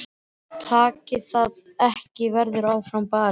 Takist það ekki verður áfram barist.